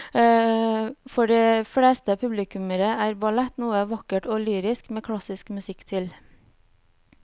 For de fleste publikummere er ballett noe vakkert og lyrisk med klassisk musikk til.